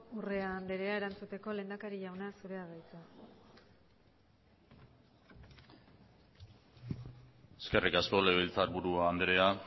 urrea anderea erantzuteko lehendakari jauna zurea da hitza eskerrik asko legebiltzar buru andrea